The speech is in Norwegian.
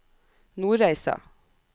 Nordreisa